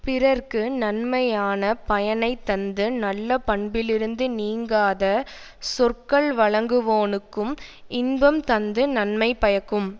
பிறர்க்கு நன்மையான பயனை தந்து நல்ல பண்பிலிருந்து நீங்காத சொற்கள் வழங்குவோனுக்கும் இன்பம் தந்து நன்மை பயக்கும்